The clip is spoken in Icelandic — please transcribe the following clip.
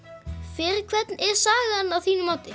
fyrir hvern er sagan að þínu mati